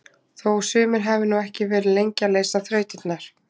Þó sumir hafi nú ekki verið lengi að leysa þrautirnar!